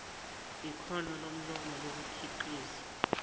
yikhono lomlomo lokukhiqiza